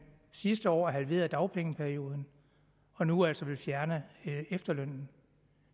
sidste år halverede dagpengeperioden og nu altså vil fjerne efterlønnen